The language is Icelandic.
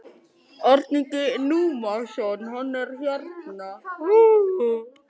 Hún gat ekkert sagt, aðeins brosað þakklátu brosi.